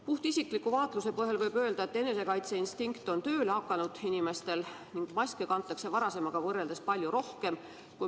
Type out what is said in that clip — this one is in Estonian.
Puhtisikliku vaatluse põhjal võin öelda, et inimestel on enesekaitseinstinkt tööle hakanud ning maske kantakse varasemaga võrreldes palju rohkem.